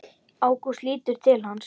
Ágúst lítur til hans.